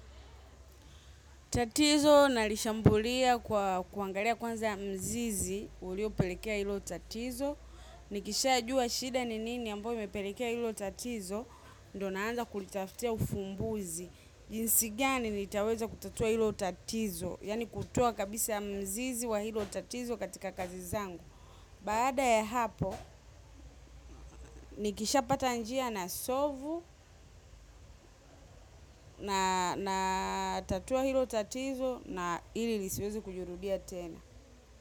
Tatizo nalishambulia kwa kuangalia kwanza mzizi, ulio pelekea hilo tatizo. Nikishaa jua shida ni nini, ambao imepelekea hilo tatizo, ndo naanza kulitaftia ufumbuzi. Jinsi gani nitaweza kutatua hilo tatizo, yaani kutoa kabisa mzizi wa hilo tattizo, katika kazi zangu. Baada ya hapo, nikishapata njia, nasovu na tatua hilo tatizo na hili lisweze kujurudia tena.